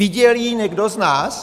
Viděl ji někdo z nás?